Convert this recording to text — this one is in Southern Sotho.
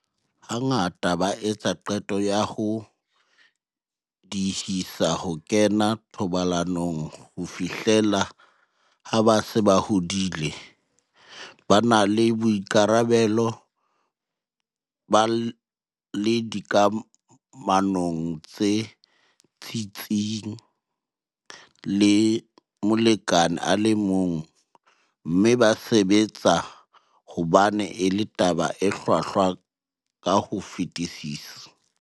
Hangata ba etsa qeto ya ho diehisa ho kena thobalanong ho fihlela ha ba se ba hodile, ba na le boikarabelo, ba le dikamanong tse tsitsitseng le molekane a le mong, mme ba sebetsa hobane e le taba e hlwahlwa ka ho fetisisa.